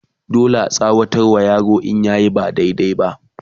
dole a tsawata wa yaro in yayi ba daidai ba